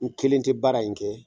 N kelen tɛ baara in kɛ